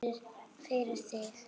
Fyrir þig.